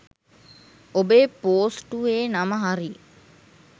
ඔබේ පෝස්ටුවේ නම හරි